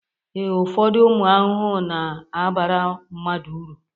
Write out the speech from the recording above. ee, ụfọdụ ụmụ ahụhụ na-abara mmadụ uru